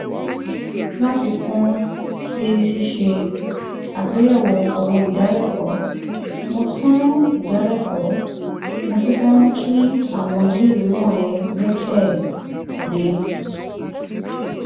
láfikún sí ṣíṣe àgbéyẹ̀wò owó ìdálẹ́kọ̀ọ́ mo tún ìdálẹ́kọ̀ọ́ mo tún fẹ́ mú kí àwọn iléèwé wọ̀nyẹn gbẹ́kẹ̀ lé